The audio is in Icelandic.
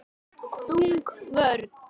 Þung vörn.